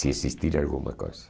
Se existir alguma coisa.